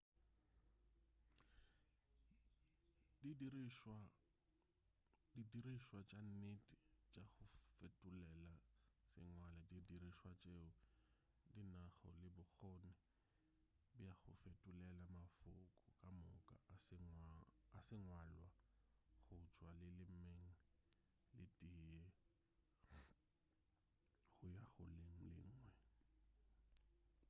di dirišwa tša nnete tša go fetolela sengwala di dirišwa tšeo di nago le bokgoni bja go fetolela mafoko ka moka a sengwalwa go tšwa lelemeng le tee go ya go le lengwe